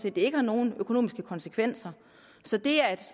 at det ikke har nogen økonomiske konsekvenser så det er et